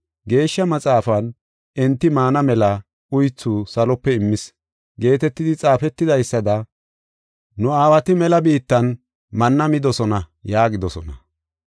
Geeshsha Maxaafan, ‘Enti maana mela uythu salope immis’ geetetidi xaafetidaysada nu aawati mela biittan manna midosona” yaagidosona.